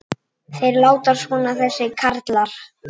Þeir láta svona þessir karlar.